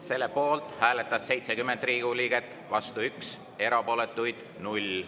Selle poolt hääletas 70 Riigikogu liiget, vastu üks ja erapooletuid null.